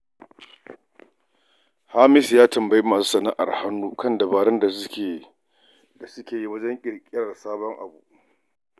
Hamisu ya tambayi masu sana'ar hannu kan dabarun da suke amfani da su wajen ƙirƙirar sabon abu.